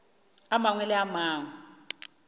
a mangwe le a mangwe